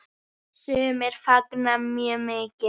Sumir fagna mjög mikið.